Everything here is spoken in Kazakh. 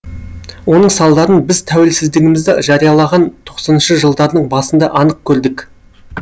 оның салдарын біз тәуелсіздігімізді жариялаған тоқсаныншы жылдардың басында анық көрдік